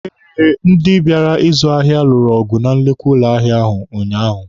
Eh, ndị bịara ịzụ ahịa lụrụ ọgụ na nnukwu ụlọ ahịa ahụ unyaahụ.